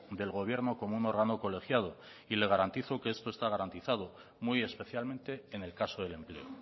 del gobierno como un órgano colegiado y le garantizo que esto está garantizado muy especialmente en el caso del empleo